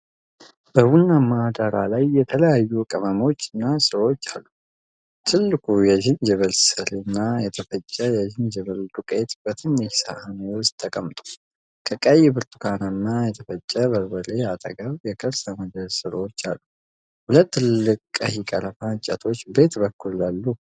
በቡናማ ዳራ ላይ የተለያዩ ቅመሞች እና ሥሮች አሉ። ትልቁ የዝንጅብል ሥር እና የተፈጨ የዝንጅብል ዱቄት በትንሽ ሳህን ውስጥ ተቀምጠዋል። ከቀይ-ብርቱካናማ የተፈጨ በርበሬ አጠገብ የከርሰ ምድር ሥሮች አሉ። ሁለት ትልልቅ ቀይ ቀረፋ እንጨቶች በየት በኩል አሉ?